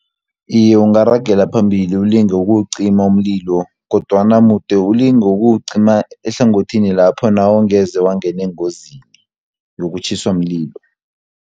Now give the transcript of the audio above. Iye ungarageli phambili ulinge ukuwucima umlilo, kodwana mude ulinge ukuwucima ehlangothini lapho nawu ungeze wangene engozini yokutjhiswa mlilo.